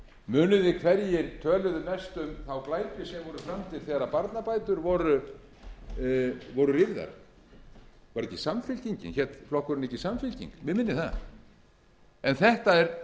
muni þið hverjir töluðu mest um þá glæpi sem voru framdir þegar barnabætur voru rýrðar var það ekki samfylkingin hét flokkurinn ekki samfylking mig minnir það það er